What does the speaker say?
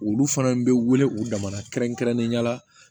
Olu fana bɛ wele u damadɔɔna kɛrɛnkɛrɛnnenya la